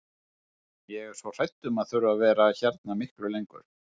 Ég er svo hrædd um að þurfa að vera hérna miklu lengur.